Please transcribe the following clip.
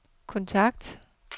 kontakt